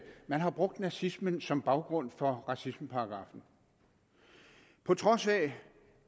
man har brugt nazismen som baggrund for racismeparagraffen på trods af